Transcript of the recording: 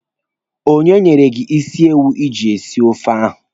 Onye nyere gị isi ewu iji sie ofe ahụ?